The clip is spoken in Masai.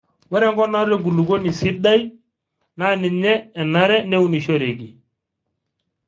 ore enkop naata enkulukuoni sidai naa ninye enare neunishoreki